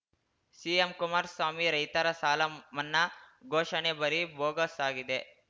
CM Kumaraswamy ರೈತರ ಸಾಲ ಮನ್ನಾ ಘೋಷಣೆ ಬರೀ ಬೋಗಸ್‌ ಆಗಿದೆ